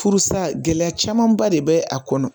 Furusa gɛlɛya camanba de bɛ a kɔnɔ